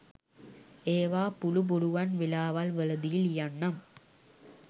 ඒවා පුලු පුලුවන් වෙලාවල් වලදි ලියන්නම්